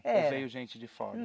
É. Ou veio gente de fora?